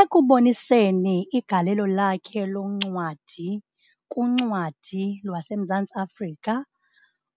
Ekuboniseni igalelo lakhe loncwadi kuncwadi lwaseMzantsi Africa,